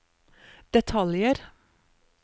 detaljer